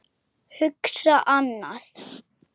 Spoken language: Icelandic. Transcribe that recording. Hugsa annað.